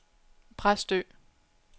Præstø